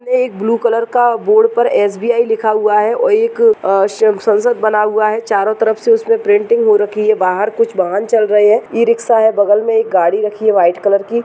वहां एक blue colour का बोर्ड पर एस.बी.आई. लिखा हुआ है और एक आह संसद बना हुआ है | चारों तरफ से उसमें प्रिंटिंग हो रखी है। बाहर कुछ वाहन चल रहे हैं | ई-रिक्शा है बगल में एक गाड़ी रखी है व्हाइट कलर की।